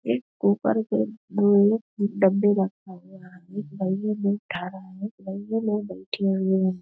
एक कुकर के डब्बे रखा हुआ है एक भईया लोग उठा रहे हैं एक भईया लोग बैठे हुए हैं।